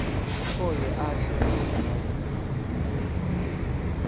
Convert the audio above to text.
okwe hashe lomdyarho